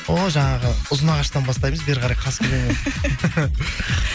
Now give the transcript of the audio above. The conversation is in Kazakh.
о жаңағы ұзынағаштан бастаймыз бері қарай қасқелен